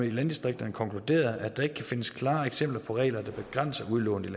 i landdistrikterne konkluderet at der ikke kan findes klare eksempler på regler der begrænser udlånet